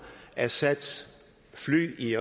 assads fly i